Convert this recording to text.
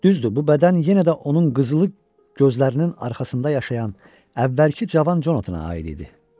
Düzdür, bu bədən yenə də onun qızılı gözlərinin arxasında yaşayan əvvəlki cavan Jonathana aid idi.